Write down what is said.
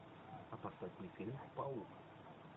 а поставь мне фильм паук